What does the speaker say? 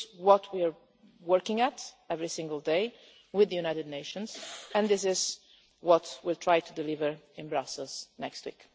talks. This is what we are working on every single day with the United Nations, and this is what we will try to deliver in Brussels next week.